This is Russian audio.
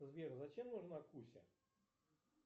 сбер зачем нужна куся